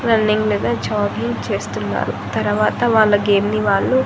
running మీద jogging చేస్తున్నారు తరవాత వాళ్ళ గేమ్ ని వాళ్ళు--